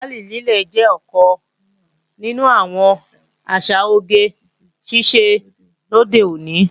Làálì lílé jẹ́ ọ̀kan nínú àwọn àṣà oge ṣíṣe lóde òní